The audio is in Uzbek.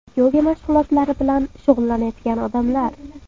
Yoga mashg‘ulotlari bilan shug‘ullanayotgan odamlar.